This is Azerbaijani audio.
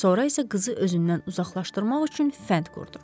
Sonra isə qızı özündən uzaqlaşdırmaq üçün fənd qurdu.